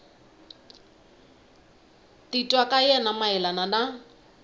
titwa ka yena mayelana na